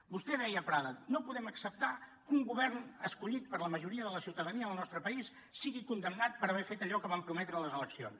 vostè deia a prada no podem acceptar que un govern escollit per la majoria de la ciutadania del nostre país sigui condemnat per haver fet allò que van prometre a les eleccions